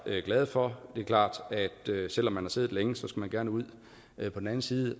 glade for det er klart at selv om man har siddet længe skal man gerne ud på den anden side